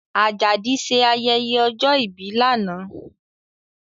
Ajadi ṣe ayẹyẹ ọjọ́ ìbí lánàá